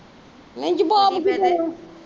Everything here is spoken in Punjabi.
ਨਹੀਂ ਜਵਾਬ ਕੀ ਦੇਣਾ